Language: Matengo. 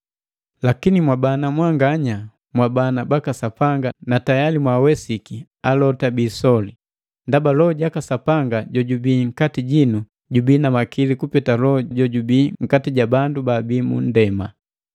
Lakini mwabana mwanganya, mwabana baka Sapanga na tayali mwaawesiki alota bi isoli; ndaba Loho jaka Sapanga jojubii nkati jinu jubii na makili kupeta loho jojubii nkati ja bandu baabii mu munndema.